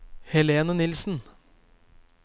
Helene Nilsen